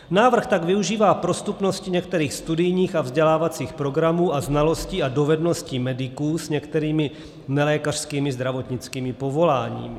Návrh tak využívá prostupnosti některých studijních a vzdělávacích programů a znalostí a dovedností mediků s některými nelékařskými zdravotnickými povoláními.